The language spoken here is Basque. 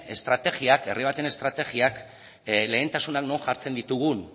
hemen herri baten estrategiak lehentasuna non jartzen ditugun